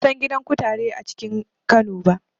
Ban san gidan kutare ba a cikin Kano.